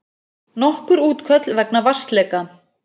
Nokkur útköll vegna vatnsleka